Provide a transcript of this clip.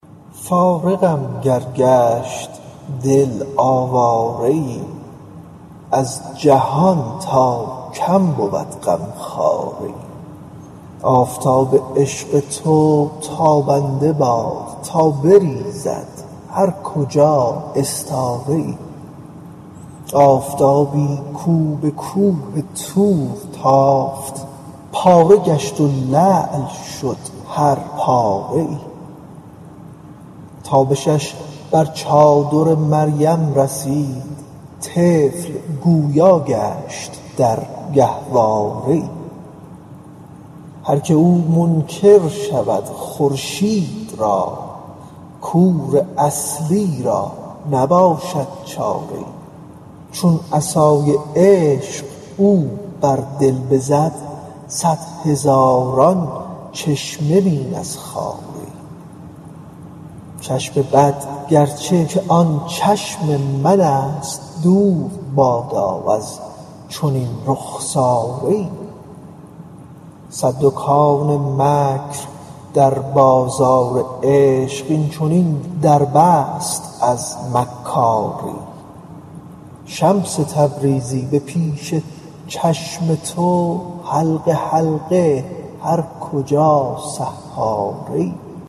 فارغم گر گشت دل آواره ای از جهان تا کم بود غمخواره ای آفتاب عشق تو تابنده باد تا بریزد هر کجا استاره ای آفتابی کو به کوه طور تافت پاره گشت و لعل شد هر پاره ای تابشش بر چادر مریم رسید طفل گویا گشت در گهواره ای هر کی او منکر شود خورشید را کور اصلی را نباشد چاره ای چون عصای عشق او بر دل بزد صد هزاران چشمه بین از خاره ای چشم بد گرچه که آن چشم من است دور بادا از چنین رخساره ای صد دکان مکر در بازار عشق این چنین در بست از مکاره ای شمس تبریزی به پیش چشم تو حلقه حلقه هر کجا سحاره ای